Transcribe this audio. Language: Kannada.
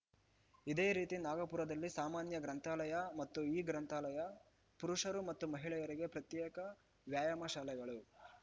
ಇದೇ ರೀತಿ ನಾಗಪುರದಲ್ಲಿ ಸಾಮಾನ್ಯ ಗ್ರಂಥಾಲಯ ಮತ್ತು ಇಗ್ರಂಥಾಲಯ ಪುರುಷರು ಮತ್ತು ಮಹಿಳೆಯರಿಗೆ ಪ್ರತ್ಯೇಕ ವ್ಯಾಯಾಮ ಶಾಲೆಗಳು